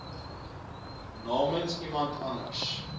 namens iemand anders